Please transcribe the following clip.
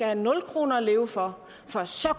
have nul kroner at leve for for så